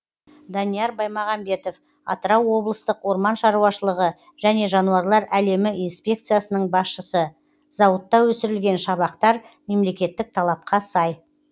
данияр баймағамбетов атырау облыстық орман шаруашылығы және жануарлар әлемі инспекциясының басшысы зауытта өсірілген шабақтар мемлекеттік талапқа сай